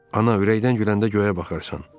Ana ürəkdən güləndə göyə baxarsan.